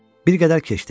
Bir qədər keçdi.